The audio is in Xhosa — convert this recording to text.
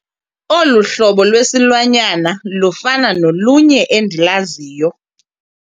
Olu hlobo lwesilwanyana lufana nolunye endilaziyo.